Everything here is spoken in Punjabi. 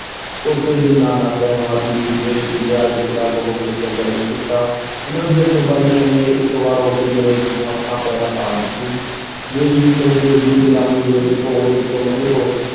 ਟੋਪੇ ਅਤੇ ਨਾਨਾ ਸਾਹਿਬ ਆਦਿ ਨੇ ਦੇਸ਼ ਦੇ ਪਿਆਰ ਵਿੱਚ ਰੰਗ ਹੋ ਕੇ ਸੰਘਰਸ਼ ਕੀਤਾ ਉਨ੍ਹਾਂ ਦੀਆਂ ਕੁਰਬਾਨੀਆਂ ਨੇ ਇਕ ਵਾਰ ਅੰਗਰੇਜ਼ਾਂ ਨੂੰ ਹੱਥਾਂ ਪੈਰਾਂ ਪਾ ਦਿੱਤੀ ਦੇਸ਼ ਵਿੱਚ ਅੰਗਰੇਜ਼ ਦੀ ਗੁਲਾਮੀ ਵਿਰੁੱਧ ਘੋਲ-ਇਸ ਤੋਂ ਮਗਰੋਂ